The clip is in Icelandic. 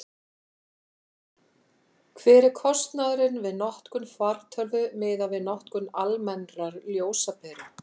hver er kostnaðurinn við notkun fartölvu miðað við notkun almennrar ljósaperu